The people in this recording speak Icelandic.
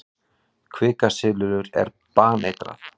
Kvikasilfur er baneitrað.